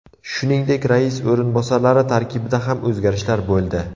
Shuningdek, rais o‘rinbosarlari tarkibida ham o‘zgarishlar bo‘ldi.